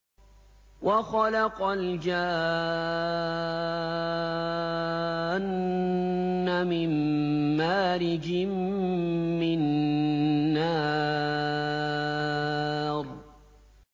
وَخَلَقَ الْجَانَّ مِن مَّارِجٍ مِّن نَّارٍ